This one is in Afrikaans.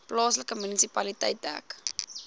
plaaslike munisipaliteit dek